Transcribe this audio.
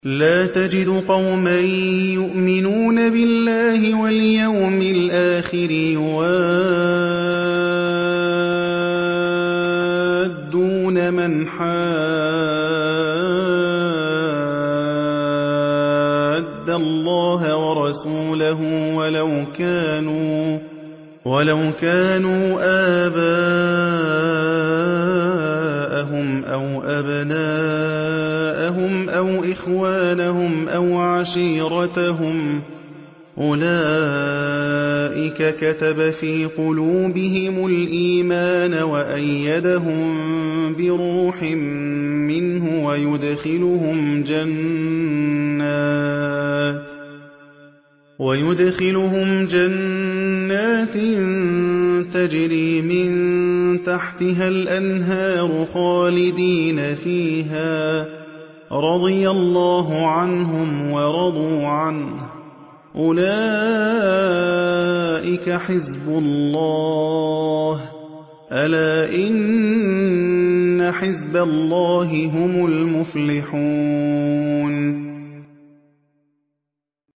لَّا تَجِدُ قَوْمًا يُؤْمِنُونَ بِاللَّهِ وَالْيَوْمِ الْآخِرِ يُوَادُّونَ مَنْ حَادَّ اللَّهَ وَرَسُولَهُ وَلَوْ كَانُوا آبَاءَهُمْ أَوْ أَبْنَاءَهُمْ أَوْ إِخْوَانَهُمْ أَوْ عَشِيرَتَهُمْ ۚ أُولَٰئِكَ كَتَبَ فِي قُلُوبِهِمُ الْإِيمَانَ وَأَيَّدَهُم بِرُوحٍ مِّنْهُ ۖ وَيُدْخِلُهُمْ جَنَّاتٍ تَجْرِي مِن تَحْتِهَا الْأَنْهَارُ خَالِدِينَ فِيهَا ۚ رَضِيَ اللَّهُ عَنْهُمْ وَرَضُوا عَنْهُ ۚ أُولَٰئِكَ حِزْبُ اللَّهِ ۚ أَلَا إِنَّ حِزْبَ اللَّهِ هُمُ الْمُفْلِحُونَ